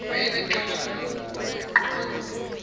wayenexhala kuba wayeqonda